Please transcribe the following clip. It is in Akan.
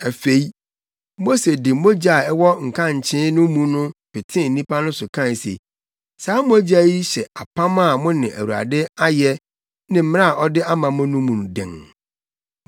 Afei, Mose de mogya a ɛwɔ nkankye no mu no petee nnipa no so kae se, “Saa mogya yi hyɛ apam a mo ne Awurade ayɛ ne mmara a ɔde ama mo no mu den.”